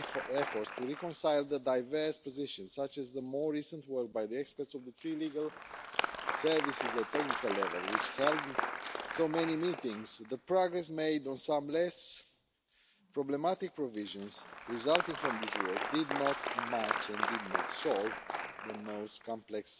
efforts to reconcile the diverse positions, such as the more recent work by the experts of the three legal services at technical level which held so many meetings, the progress made on some less problematic provisions resulting from this work did not match and did not solve the most complex